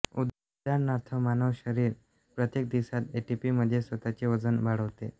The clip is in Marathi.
उदाहरणार्थ मानव शरीर प्रत्येक दिवसात एटीपीमध्ये स्वतःचे वजन वाढवते